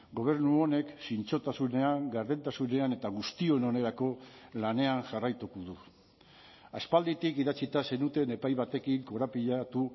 gobernu honek zintzotasunean gardentasunean eta guztion onerako lanean jarraituko du aspalditik idatzita zenuten epai batekin korapilatu